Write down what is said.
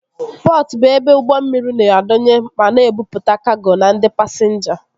Pọtụ bụ ebe ụgbọ mmiri na-adọnye ma na-ebupụta kago na ndị pasinja